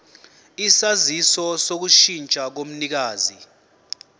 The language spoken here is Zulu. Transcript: isaziso sokushintsha komnikazi